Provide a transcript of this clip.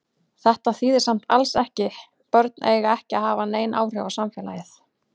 Þetta þýðir samt alls ekki börn eiga ekki að hafa nein áhrif á samfélagið.